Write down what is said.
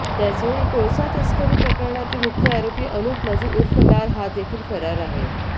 त्याचवेळी कोळसा तस्करी प्रकरणातील मुख्य आरोपी अनुप माझी उर्फ लाल हा देखील फरार आहे